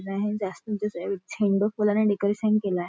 झेंडू फुलांने डेकोरेशन केलय.